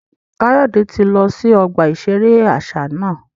Kayode ti lọ si ọgba iṣere aṣa náà